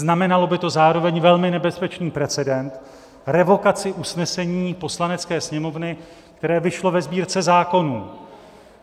Znamenalo by to zároveň velmi nebezpečný precedens - revokaci usnesení Poslanecké sněmovny, které vyšlo ve Sbírce zákonů.